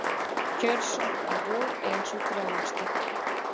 Kjörsókn í vor ein sú dræmasta